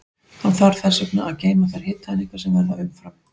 Hann þarf þess vegna að geyma þær hitaeiningar sem verða umfram.